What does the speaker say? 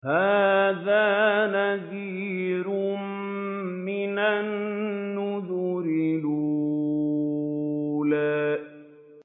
هَٰذَا نَذِيرٌ مِّنَ النُّذُرِ الْأُولَىٰ